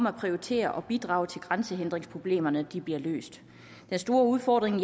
at prioritere og bidrage til at grænsehindringsproblemerne bliver løst den store udfordring